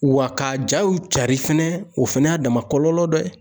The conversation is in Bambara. Wa ka jaw cari fɛnɛ o fɛnɛ y'a dama kɔlɔlɔ dɔ ye